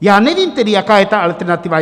Já nevím tedy, jaká je ta alternativa.